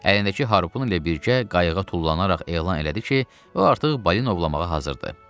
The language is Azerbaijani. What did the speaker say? Əlindəki harpun ilə birgə qayıqa tullanaraq elan elədi ki, o artıq balina ovlamağa hazırdır.